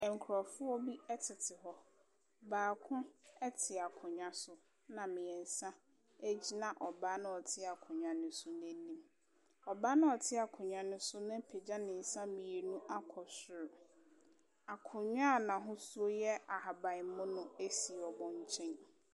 Nkurɔfoɔ bi tete hɔ. Baako te akonnwa so, ɛna mmeɛnsa gyina ɔbaa no a ɔte akonnwa no so no anim. Ɔbaa no a ɔte akonnwa no so no apagya ne nsa mmienu akɔ soro. Akonnwa a n'ahosuo yɛ ahabammono si wɔn nkyɛn.